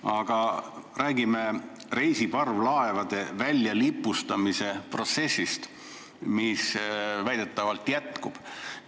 Aga räägime reisiparvlaevade väljalipustamise protsessist, mis väidetavalt jätkub.